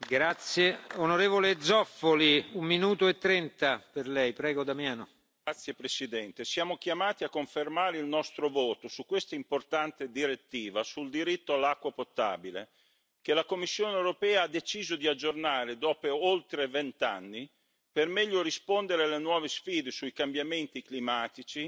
Signor Presidente, onorevoli colleghi, siamo chiamati a confermare il nostro voto su questa importante direttiva sul diritto all'acqua potabile che la Commissione europea ha deciso di aggiornare dopo oltre vent'anni, per meglio rispondere alle nuove sfide sui cambiamenti climatici